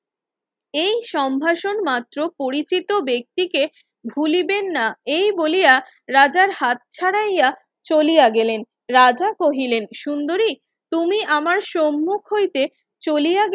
এই সম্ভাষণ মাত্র পরিচিত ব্যক্তিকে ভুলিবেন না এই বলিয়া রাজার হাত ছাড়াইয়া চলিয়া গেলেন রাজা কহিলেন সুন্দরী তুমি আমার সম্মুখ হইতে চলিয়া গেলেন